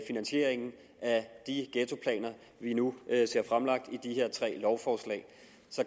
finansieringen af de ghettoplaner vi nu ser fremlagt i de her tre lovforslag